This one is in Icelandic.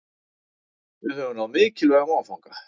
Við höfum náð mikilvægum áfanga